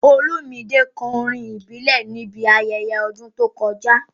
Olumide kọ orin ìbílẹ̀ níbi ayẹyẹ ọdún tó kọjá.